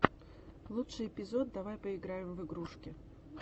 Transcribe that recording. лучший эпизод давай поиграем в игрушки